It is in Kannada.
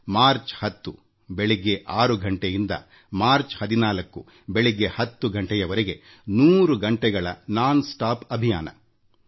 ಮಾರ್ಚ್ 10ರ ಬೆಳಗ್ಗೆ 6 ರಿಂದ ಮಾರ್ಚ್ 14 ಬೆಳಗ್ಗೆ 10 ಗಂಟೆವರೆಗೆ 1೦೦ ಗಂಟೆಗಳ ನಿರಂತರ ಅಭಿಯಾನ ಅದಾಗಿತ್ತು